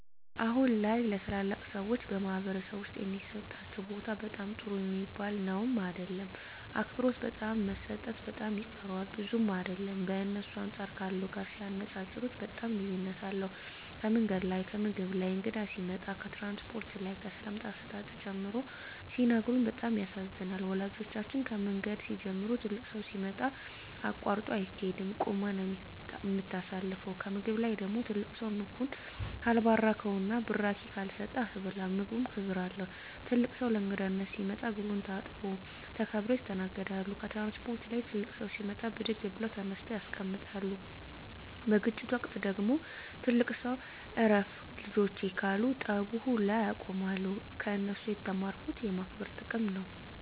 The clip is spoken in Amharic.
አሁን ላይ ለተላላቅ ሰዎች በማኅበረሰብ ዉስጥ የሚሠጣቸው ቦታ በጣም ጥሩ ሚባል ነዉም አይደለም አክብሮት በጣም መሰጠት በጣም ይቀረዋል ብዙም አይደለም በእነሱ አንጻር ካለው ጋር ሲነጻጽጽሩት በጣም ልዩነት አለዉ ከምንገድ ላይ ከምግብ ላይ ከእንግዳ ሲመጣ ከትራንስፖርት ላይ ከሰላምታ አሰጣጥ ጨምሮ ሲነግሩን በጣም ያሳዝናል ወላጆቻችን ከምንገድ ሲንጀምሩ ትልቅ ሠው ሲመጣ አቃርጦ አይቂድም ቁመ ነው ምታሳልፈው ከምግብ ላይ ደግሞ ትልቅ ሰው ምግቡን ካልባረከዉና ብራቂ ካልሰጠ አትበላም ምግቡም ክብር አለው ትልቅ ሰው ለእንግዳነት ሲመጣ እግሩን ታጥቦ ተከብረው ይስተናገዳሉ ከትራንስፖርት ላይ ትልቅ ሰው ሲመጣ ብድግ ብለው ተነስተው ያስቀምጣሉ በግጭት ወቅት ደግሞ ትልቅ ሰው እረፍ ልጆቸ ካሉ ጠቡ ውላ ያቆማሉ ከነሱ የተማርኩት የማክበር ጥቅም ነው